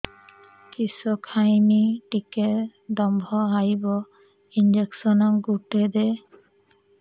କିସ ଖାଇମି ଟିକେ ଦମ୍ଭ ଆଇବ ଇଞ୍ଜେକସନ ଗୁଟେ ଦେ